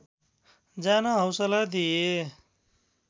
जान हौसला दिए